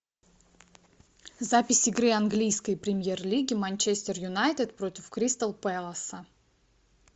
запись игры английской премьер лиги манчестер юнайтед против кристал пэласа